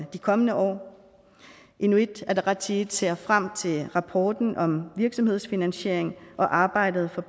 de kommende år inuit ataqatigiit ser frem til rapporten om virksomhedsfinansiering og arbejdet for